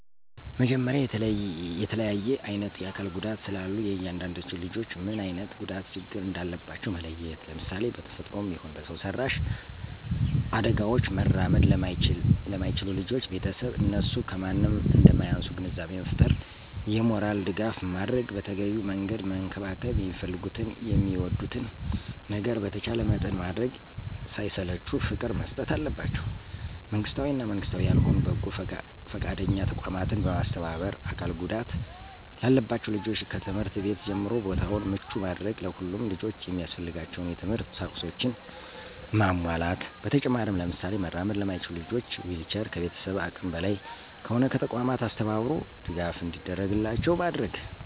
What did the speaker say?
መጀመሪያ የተለያየ አይነት የአካል ጉዳቶች ስላሉ የእያንዳዳቸውን ልጆች ምን አይነት ጉዳት ችግር እንዳለባቸው መለየት፣ ለምሳሌ:- በተፈጥሮም ይሁን በሰው ሰራሽ አዳጋውች መራመድ ለማይችሉ ልጆች ቤተሰብ እነሱ ከማንም እንደማያንሱ ግንዛቤ መፍጠር የሞራል ድጋፍ ማድረግ በተገቢው መንገድ መንከባከብ የሚፈልጉትን የሚወዱትን ነገር በተቻለ መጠን ማድረግ ሳይሰለቹ ፍቅር መስጠት አለባቸው። መንግስታዊ እና መንግስታዊ ያልሆኑ በጎ ፈቃደኛ ተቋማትን በማስተባበር አካል ጉዳት ላለባቸው ልጆች ከትምህርት ቤት ጀምሮ ቦታውን ምቹ ማድረግ ለሁሉም ልጆች የሚያስፈልጋቸውን የት/ት ቁሳቁሶችን ማሟላት። በተጨማሪም ለምሳሌ መራመድ ለማይችሉ ልጆች ዊልቸር ከቤተሰብ አቅም በላይ ከሆነ ከተቋማት አስተባብሮ ድጋፍ እንዲደረግላቸው ማድረግ።